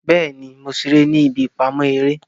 Bẹẹni, Mo ṣe ere ni ibi ipamọ ere